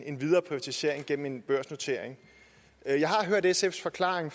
en videre privatisering gennem en børsnotering jeg har hørt sfs forklaring